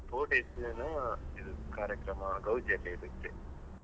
Four days ಏನೋ ಇದ್ ಕಾರ್ಯಕ್ರಮ ಗೌಜಿಯಲ್ಲಿ ಇರುತ್ತೆ.